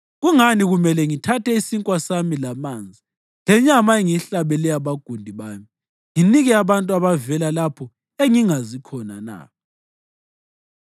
Kungani kumele ngithathe isinkwa sami lamanzi, lenyama engiyihlabele abagundi bami, nginike abantu abavela lapho engingazi khona na?”